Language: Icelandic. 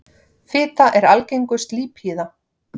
Fita er algengust lípíða.